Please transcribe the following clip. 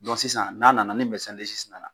sisan n'a nana ni nana,